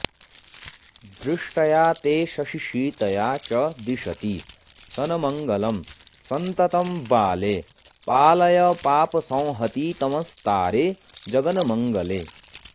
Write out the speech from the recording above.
दृष्ट्या ते शशिशीतया च दिशती सन्मङ्गलं सन्ततं बाले पालय पापसंहतितमस्तारे जगन्मङ्गले